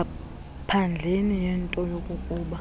ngaphandleni kwento yokokuba